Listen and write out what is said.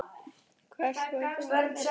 Hvert förum við eftir þetta?